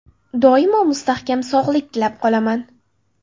Doimo mustahkam sog‘liq tilab qolaman.